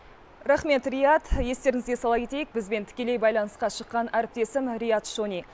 рақмет риат естеріңізге сала кетейік бізбен тікелей байланысқа шыққан әріптесім риат шони